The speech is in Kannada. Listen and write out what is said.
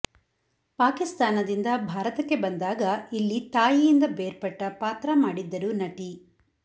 ಪಾಕಿಸ್ತಾನದಿಂದ ಭಾರತಕ್ಕೆ ಬಂದಾಗ ಇಲ್ಲಿ ತಾಯಿಯಿಂದ ಬೇರ್ಪಟ್ಟ ಪಾತ್ರ ಮಾಡಿದ್ದರುರು ನಟಿ